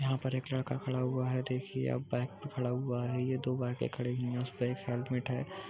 यहां पर एक लड़का खड़ा हुआ है| देखिए आप बाइक पर खड़ा हुआ है| दो बाइके खडी हुई है| इस पर एक हेलमेट है।